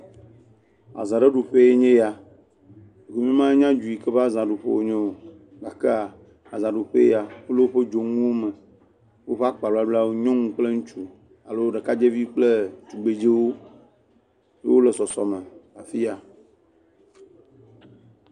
Aza aɖe ɖuƒee nye ya. Nye me nya nu yi ke ƒe azaɖuƒe wonye o gake azaɖuƒee ya kple woƒe dzonuwo me. Woƒe akpabablawo nyɔnu kple ŋutsɔ alo ɖekadzeviwo kple tugbedzewo wole sɔsɔ me le afi ya.